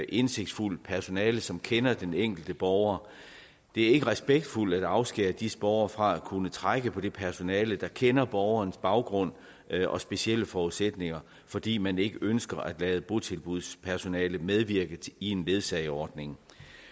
indsigtsfuldt personale som kender den enkelte borger det er ikke respektfuldt at afskære disse borgere fra at kunne trække på det personale der kender borgernes baggrund og specielle forudsætninger fordi man ikke ønsker at lade botilbudspersonale medvirke i en ledsageordning